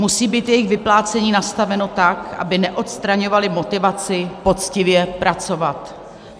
Musí být jejich vyplácení nastaveno tak, aby neodstraňovaly motivaci poctivě pracovat.